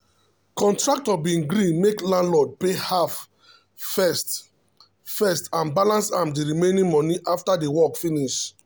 contractor be gree make landlord pay half first first and balance am de remaining money after de work finish